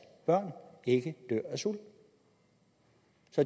børn ikke dør af sult